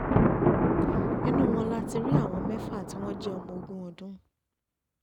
nínú wọn la ti rí àwọn mẹ́fà tí wọ́n jẹ́ ọmọ ogún ọdún